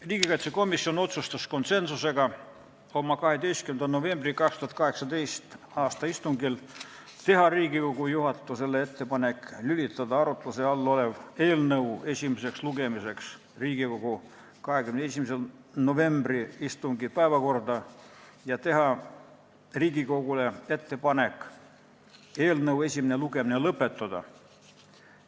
Riigikaitsekomisjon otsustas konsensusega oma 12. novembri 2018. aasta istungil teha Riigikogu juhatusele ettepaneku lülitada arutluse all olev eelnõu esimeseks lugemiseks Riigikogu 21. novembri istungi päevakorda ja teha Riigikogule ettepaneku eelnõu esimene lugemine lõpetada.